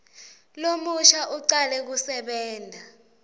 lomusha ucale kusebenta